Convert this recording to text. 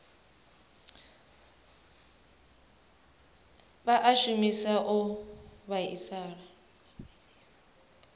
vha a shumisa o vhiliswa